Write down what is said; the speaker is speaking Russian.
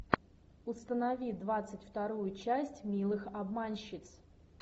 установи двадцать вторую часть милых обманщиц